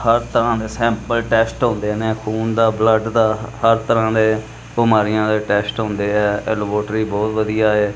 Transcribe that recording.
ਹਰ ਤਰਾਂ ਦੇ sample test ਹੁੰਦੇ ਨੇ ਖੂਨ ਦਾ ਬਲੱਡ ਦਾ ਹਰ ਤਰ੍ਹਾਂ ਦੇ ਬਿਮਾਰੀਆਂ ਦੇ ਟੈਸਟ ਹੁੰਦੇ ਐ ਇਹ ਲੈਬੋਰਟਰੀ ਬਹੁਤ ਵਧੀਆ ਹੈ।